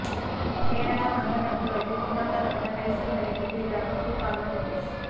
கேரள தங்கக்கடத்தல் வழக்கில் குற்றம்சாட்டப்பட்ட பைசல் பரீத்துக்கு எதிராக ப்ளூ கார்னர் நோட்டீஸ்